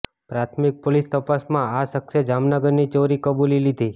પ્રાથમિક પોલીસ તપાસમાં આ શખ્સે જામનગરની ચોરી કબુલી લીધી